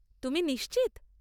তুমি নিশ্চিত?